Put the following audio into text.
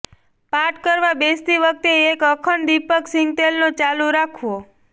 પાઠ કરવા બેસતી વખતે એક અખંડ દીપક સિંગતેલનો ચાલુ રાખવો